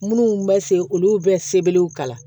Minnu bɛ se olu bɛ sebelew kalan